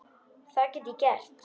Það get ég gert.